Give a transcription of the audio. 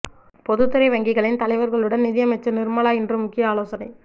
பொதுத் துறை வங்கிகளின் தலைவர்களுடன் நிதியமைச்சர் நிர்மலா இன்று முக்கிய ஆலோசனை